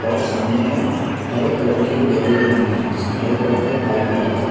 और सामने में हरे कलर की एक गैलरी बनी है जिसमे हरे कलर का एक पाइप भी लगा है।